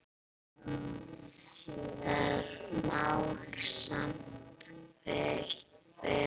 Það má samt vel vera.